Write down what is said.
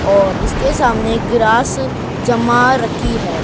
और इसके सामने ग्रास जमा रखी है।